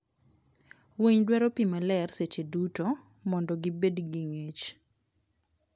winy dwaro pii maler seche duto mondo gibed gi ngich